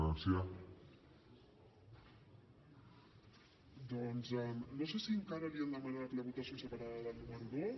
doncs no sé si encara li han demanat la votació separada del número dos